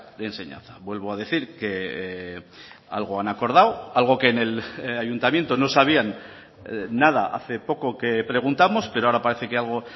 de enseñanza vuelvo a decir que algo han acordado algo que en el ayuntamiento no sabían nada hace poco que preguntamos pero ahora parece que algo